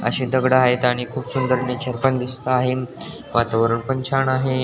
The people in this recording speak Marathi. अशी दगड आहेत आणि खूप सुंदर नेचर पण दिसत आहे वातावरण पण छान आहे.